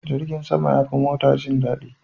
Jirgin sama yafi mota jin dadi.